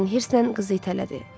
Dorian hirslə qızı itələdi.